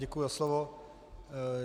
Děkuji za slovo.